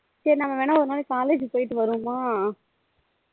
சரி நம்ம வேணா ஒரு நாள் college போய்ட்டு வருவோமா